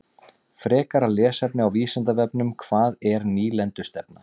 Frekara lesefni á Vísindavefnum: Hvað er nýlendustefna?